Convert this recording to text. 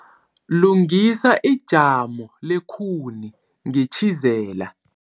Lungisa ijamo lekhuni ngetjhizela.